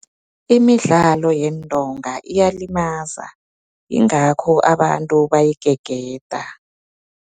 Imidlalo yeentonga iyalimaza, ingakho abantu bayigegeda.